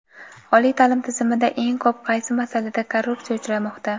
Oliy ta’lim tizimida eng ko‘p qaysi masalada korrupsiya uchramoqda?.